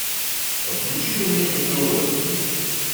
включи ка мне нтв